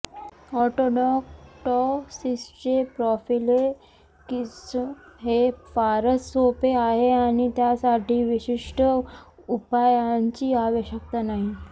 ऑटोडक्टोसिसचे prophylaxis हे फारच सोपे आहे आणि त्यासाठी विशिष्ट उपायांची आवश्यकता नाही